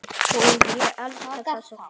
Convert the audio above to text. Og ég elska þessa fiðlu.